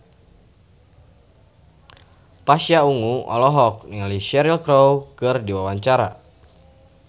Pasha Ungu olohok ningali Cheryl Crow keur diwawancara